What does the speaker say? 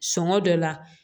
Sɔngɔ dɔ la